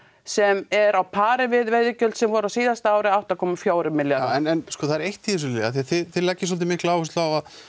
sem er á pari við veiðigjöldin voru á síðasta ári átta komma fjórir milljarðar en það er eitt í þessu Lilja af því þið leggið svolítið mikla áherslu á